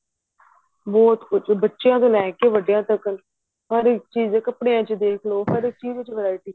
ਬਹੁਤ ਕੁੱਛ ਬੱਚਿਆ ਤੋਂ ਲੈ ਕੇ ਵੱਡਿਆ ਤੱਕ ਹਰ ਇੱਕ ਚੀਜ ਕਪੜਿਆ ਚ ਦੇਖ ਲੋ ਹਰ ਚੀਜ ਵਿੱਚ variety